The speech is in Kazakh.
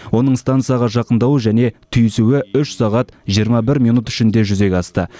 оның стансаға жақындауы және түйісуі үш сағат жиырма бір минут ішінде жүзеге асты